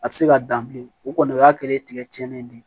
A tɛ se ka dan bilen o kɔni o y'a kɛlen ye tigɛ cɛnnen ye bi